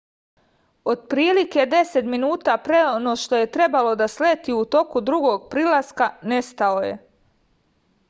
otprilike deset minuta pre no što je trebalo da sleti u toku drugog prilaska nestao je